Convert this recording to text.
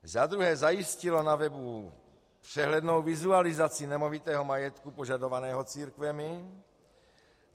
Za druhé zajistilo na webu přehlednou vizualizaci nemovitého majetku požadovaného církvemi.